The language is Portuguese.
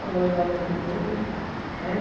Falou, eu acho que não vou voltar, né?